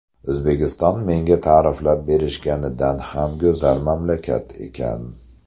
O‘zbekiston menga ta’riflab berishganidan ham go‘zal mamlakat ekan.